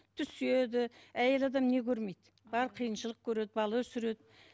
түседі әйел адам не көрмейді бар қиыншылық көреді бала өсіреді